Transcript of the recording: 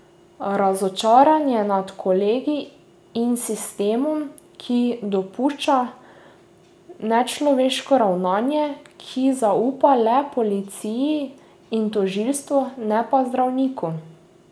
Razočaran je nad kolegi in sistemom, ki dopušča nečloveško ravnanje, ki zaupa le policiji in tožilstvu, ne pa zdravniku.